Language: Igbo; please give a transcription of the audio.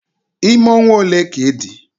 Ime ọnwa ole ka ịdị?